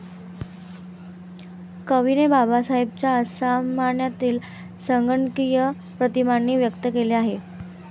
कवीने बाबासाहेबांच्या असामान्यतेला संगणकीय प्रतिमांनी व्यक्त केले आहे.